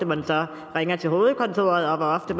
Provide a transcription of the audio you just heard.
man så ringer til hovedkontoret og hvor